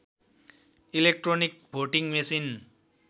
electronic voting machine